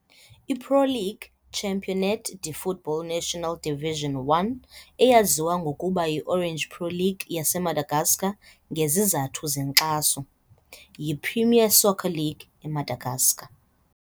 I-Pro League Championnat de Football National Division 1, eyaziwa ngokuba yiOrange Pro League yaseMadagascar ngezizathu zenkxaso, yiPremier Soccer League eMadagascar.